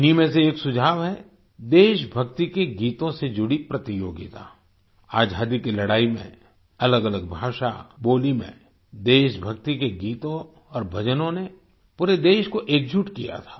इन्हीं में से एक सुझाव है देशभक्ति के गीतों से जुड़ी प्रतियोगिता आज़ादी की लड़ाई में अलगअलग भाषा बोली में देशभक्ति के गीतों और भजनों ने पूरे देश को एकजुट किया था